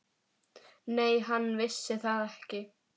Nei, hann vissi það ekki.